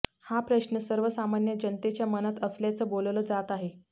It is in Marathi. हा प्रश्न सर्वसामान्य जनतेच्या मनात असल्याचं बोललं जात आहे